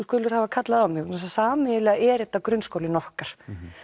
hafa kallað á mig vegna þess að sameiginlega er þetta grunnskólinn okkar